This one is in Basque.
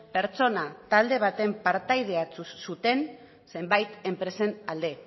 pertsona talde baten partaideek hartu zuten zenbait enpresen alde